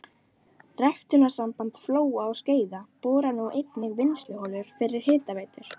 Ræktunarsamband Flóa og Skeiða borar nú einnig vinnsluholur fyrir hitaveitur.